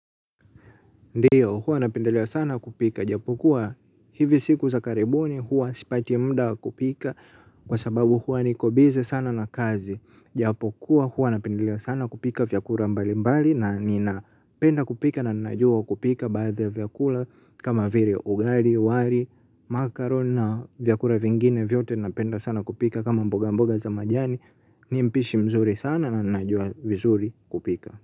Ndiyo, huwa napendelea sana kupika. Japokuwa hivi siku za karibuni huwa sipati mda wa kupika kwa sababu huwa niko bize sana na kazi. Japokuwa huwa napendelea sana kupika vyakura mbalimbali na ninapenda kupika na ninajua kupika baadhi ya vyakula kama vire ugari, wari, makaron na vyakura vingine vyote napenda sana kupika kama mboga mboga za majani. Mimi mpishi mzuri sana na ninajua vizuri kupika.